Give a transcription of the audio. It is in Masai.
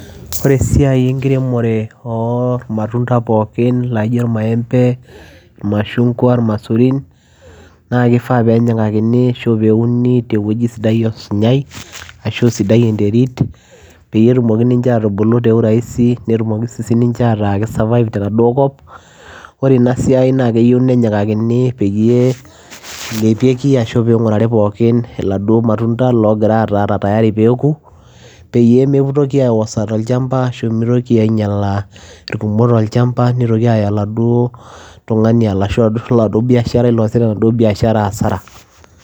Ore esiai enkiremore ormatunda pookin laijo irmaembe , irmashunkwa, irmaisurin naa kifaa penyikakini ashu peuni tewueji sidai osinyai ashu sidai enterit peyie etumoki ninche atubulu te uraisi netumoki ninche ata ki survive. Ore enaduo siai naa keyieu nenyikakini peyie epiki ashu pingurari pookin iladuo matunda lotaa tayari peku peyie mitoki aiwosa tolchamaba ashu mitoki ainyiala irkumok tolchamba , nitoki aya oladuo tungani ashu oladuoo biasharai loasita enaduoo biashara asara.